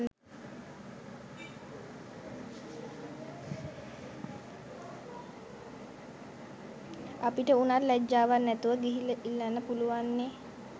අපිට උනත් ලැජ්ජවක් නැතුව ගිහිල්ල ඉල්ලන්න පුලුවන්නෙ